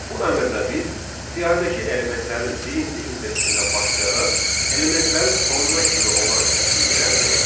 Bu əmrlə biz siyahıdakı elementlərin birinci indeksindən başlayaraq elementlərin sonuna kimi olan kəsiyini əldə etdik.